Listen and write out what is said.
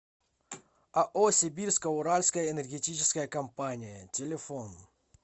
ао сибирско уральская энергетическая компания телефон